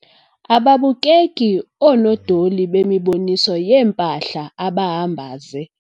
Ababukeki oonodoli bemiboniso yeempahla abahamba ze.